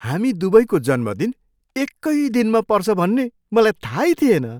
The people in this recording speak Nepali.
हामी दुवैको जन्मदिन एकै दिनमा पर्छ भन्ने मलाई थाहै थिएन!